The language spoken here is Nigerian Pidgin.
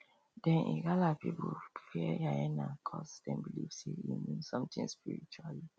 dem igala people fear hyena cuz dem believe say e mean something spiritually